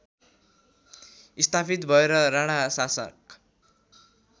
स्थापित भएर राणाशासक